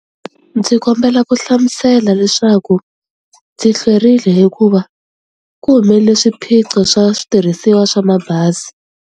Ndzi kombela ku hlamusela leswaku ndzi hlwerile hikuva ku humelele swiphiqo swa switirhisiwa swa mabazi.